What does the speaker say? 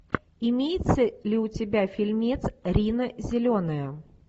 имеется ли у тебя фильмец рина зеленая